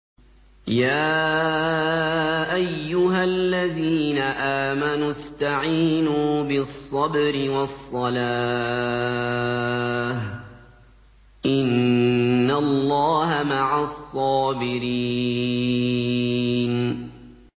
يَا أَيُّهَا الَّذِينَ آمَنُوا اسْتَعِينُوا بِالصَّبْرِ وَالصَّلَاةِ ۚ إِنَّ اللَّهَ مَعَ الصَّابِرِينَ